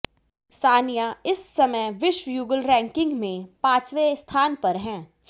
सानिया इस समय विश्व युगल रैंकिंग में पांचवें स्थान पर हैं